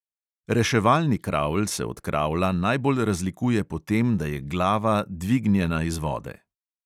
Reševalni kravl se od kravla najbolj razlikuje po tem, da je glava dvignjena iz vode.